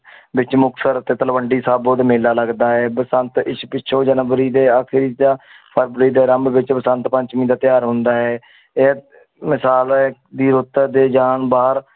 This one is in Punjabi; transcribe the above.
ਵਿੱਚ ਮੁਕਤਸਰ ਤੇ ਤਲਵੰਡੀ ਸਾਬੋ ਦੇ ਮੇਲਾ ਲੱਗਦਾ ਹੈ ਬਸੰਤ ਇਸ ਪਿੱਛੋਂ ਜਨਵਰੀ ਦੇ ਆਖਰੀ ਜਾਂ ਫਰਵਰੀ ਦੇ ਆਰੰਭ ਵਿੱਚ ਬਸੰਤ ਪੰਚਮੀ ਦਾ ਤਿਉਹਾਰ ਹੁੰਦਾ ਹੈ ਇਹ ਦੀ ਰੁੱਤ ਦੇ ਜਾਣ ਬਾਹਰ